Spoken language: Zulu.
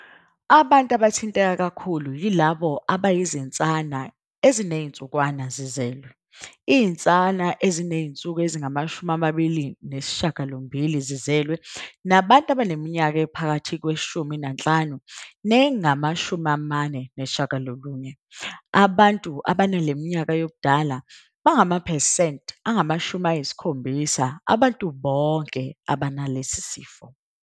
Abantu abathinteka kakhulu yilabo abayizinsana ezinezinsukwana zizelwe - izinsana ezinezinsuku ezingama-28 zizelwe, nabantu abaneminyaka ephakathi kweyi-15 nengama-49. Abantu abanale minyaka yobudala bangamaphesenti angama-70 abantu bonke abanalesi sifo.